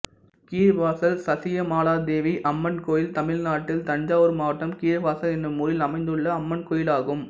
கீழவாசல் சசியாமளாதேவி அம்மன் கோயில் தமிழ்நாட்டில் தஞ்சாவூர் மாவட்டம் கீழவாசல் என்னும் ஊரில் அமைந்துள்ள அம்மன் கோயிலாகும்